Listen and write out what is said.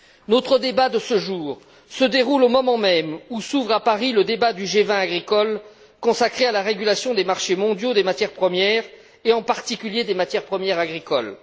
Notre débat de ce jour se déroule au moment même où s'ouvre à Paris le débat du G20 agricole consacré à la régulation des marchés mondiaux des matières premières et, en particulier, des matières premières agricoles.